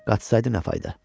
Qaçsaydı nə fayda?